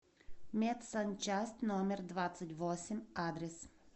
медсанчасть номер двадцать восемь адрес